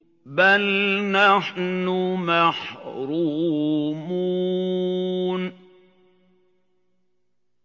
بَلْ نَحْنُ مَحْرُومُونَ